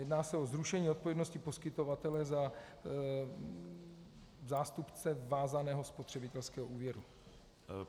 Jedná se o zrušení odpovědnosti poskytovatele za zástupce vázaného spotřebitelského úvěru.